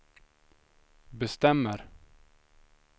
bestämmer